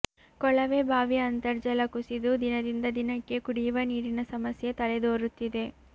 ಕೊಳವೆ ಬಾವಿ ಅಂತರ್ಜಲ ಕುಸಿದು ದಿನದಿಂದ ದಿನಕ್ಕೆ ಕುಡಿಯುವ ನೀರಿನ ಸಮಸ್ಯೆ ತಲೆದೋರುತ್ತಿದೆ